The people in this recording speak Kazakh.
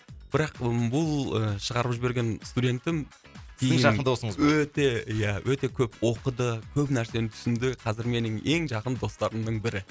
бірақ ы бұл ы шығарып жіберген студентім сіздің жақын досыңыз өте ия өте көп оқыды көп нәрсені түсінді қазір менің ең жақын достарымның бірі